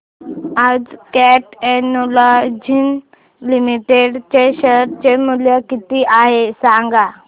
आज Cat Technologies Limited चे share चे मूल्य किती आहे सांगा